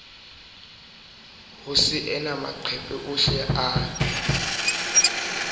ho saena maqephe ohle a